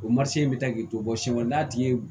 O in bɛ taa k'i to bɔ sen kɔnɔ n'a tigi ye